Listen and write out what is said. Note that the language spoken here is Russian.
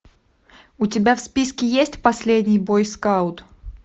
у тебя в списке есть последний бойскаут